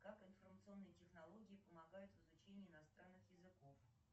как информационные технологии помогают в изучении иностранных языков